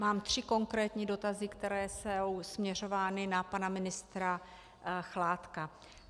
Mám tři konkrétní dotazy, které jsou směřovány na pana ministra Chládka.